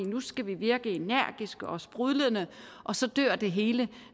nu skal vi virke energiske og sprudlende og så dør det hele